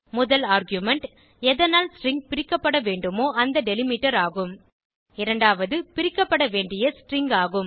முதல் ஆர்குமென்ட் எதனால் ஸ்ட்ரிங் பிரிக்க பட வேண்டுமோ அந்த டெலிமிட்டர் ஆகும் இரண்டாவது பிரிக்கப்பட வேண்டிய ஸ்ட்ரிங் ஆகும்